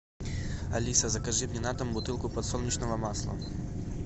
алиса закажи мне на дом бутылку подсолнечного масла